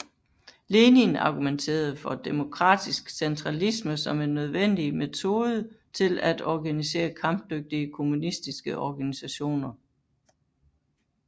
Lenin argumenterede for demokratisk centralisme som en nødvendig metode til at organisere kampdygtige kommunistiske organisationer